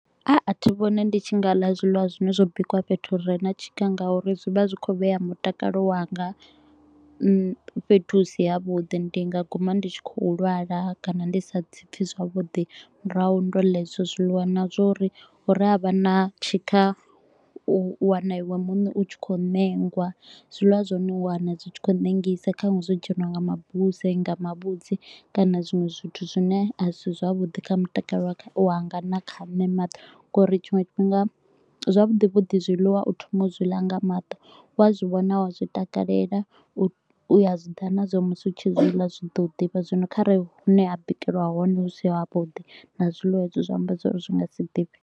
A, a thi vhoni ndi tshi nga ḽa zwiḽiwa zwine zwo bikiwa fhethu hu re na tshika nga uri zwi vha zwi khou vhea mutakalo wanga hmm fhethu hu si ha vhuḓi, ndi nga guma ndi tshi kho u lwala kana ndi sa ḓi pfi zwavhuḓi murahu ndo ḽa hezwo zwiḽiwa. Na zwa uri hu re ha vha na tshikha, u wana iwe muṋe u tshi kho u ṋengwa, zwiliwa zwa hone u wana zwi tshi kho u ṋengisa. Nṱhanwe zwo dzheniwa nga mabuse, nga mavhudzi kana zwiṅwe zwithu zwine a si zwavhuḓi kha mutakalo wanga na kha nṋe nga uri tshiṅwe tshifhinga zwavhuḓi vhuḓi zwiḽiwa u thoma u zwi ḽa nga maṱo. Wa zwi vhona u a zwitakalela, u a zwi ḓivha na zwa uri musi u tshi zwi ḽa zwi ḓo ḓifha, zwino kharali hune ha bikelwa hone hu si havhuḓi na zwiḽiwa hezwo zwi amba zwa uri zwi nga si ḓifhe.